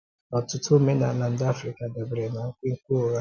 Ọ̀tụtụ òmenàlá ndị Africa dabèrè na nkwènkwè ụ́gha.